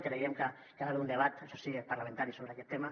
creiem que hi ha d’haver un debat això sí parlamentari sobre aquest tema